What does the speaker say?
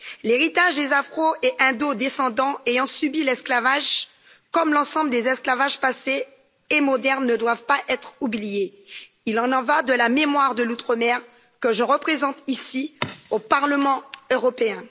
L'héritage des afro et indo descendants ayant subi l'esclavage, comme l'ensemble des esclavages passés et modernes ne doivent pas être oubliés. Il y va de la mémoire de l'Outre mer que je représente ici au Parlement européen.